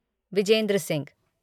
Vijendra Singh